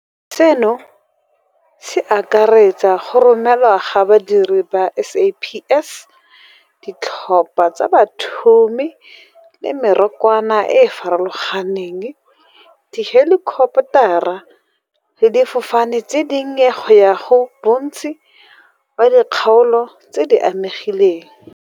Seno se akaretsa go romelwa ga badiri ba SAPS, ditlhopha tsa bathumi le mekorwana e e farologaneng, dihelikoptara le difofane tse dinnye go ya go bontsi ba dikgaolo tse di amegileng.